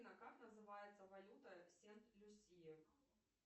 как называется валюта сент люсия